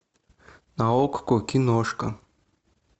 на окко киношка